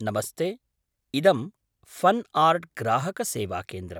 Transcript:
नमस्ते, इदं फ़न् आर्ट्ग्राहकसेवाकेन्द्रम्।